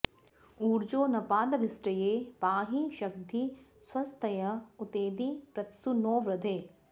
ऊर्जो नपादभिष्टये पाहि शग्धि स्वस्तय उतैधि पृत्सु नो वृधे